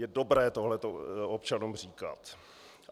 Je dobré toto občanům říkat.